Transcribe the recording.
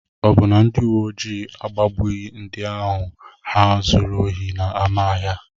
Ọ bụ na ndị uwe ojii agbagbughị ndị ohi ahụ zuru ohi n'ámá ahịa?